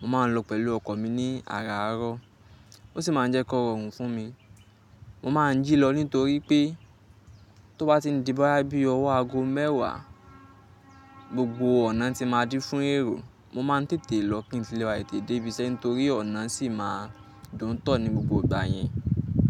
Mo máa ń lọ pẹ̀lú ọkọ̀ mi ní àràárọ̀, ó sì máa ń jẹ́ kó rọrùn fún mi. Mo máa ń jí lọ nítorí pé tó bá ti di bá bí ọwọ́ aago mẹ́wàá, gbogbo ọ̀nà tí máa dí fún èrò. Mo máa ń tètè lọ kí n lè wá tètè dé ibi iṣẹ́ nítorí ọ̀nà sì máa dùn tọ ní gbogbo ìgbà yẹn.